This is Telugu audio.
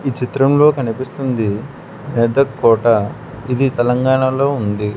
చిత్రంలో కనిపిస్తుంది మెదక్ కోట ఇది తెలంగాణలో ఉంది.